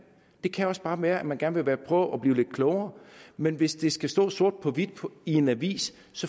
det kan også bare være at man gerne vil prøve at blive lidt klogere men hvis det skal stå sort på hvidt i en avis